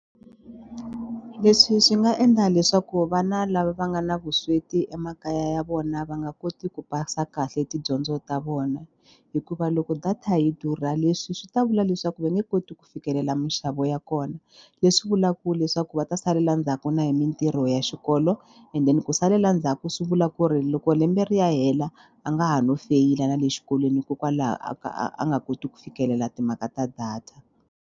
Leswi swi nga endla leswaku vana lava va nga na vusweti emakaya ya vona va nga koti ku pasa kahle tidyondzo ta vona hikuva loko data yi durha leswi swi ta vula leswaku va nge koti ku fikelela minxavo ya kona leswi vulaka leswaku va ta salela ndzhaku na hi mitirho ya xikolo and then ku salela ndzhaku ku swi vula ku ri loko lembe ri ya hela a nga ha no feyila na le xikolweni hikokwalaho a ka a nga koti ku fikelela timhaka ta data.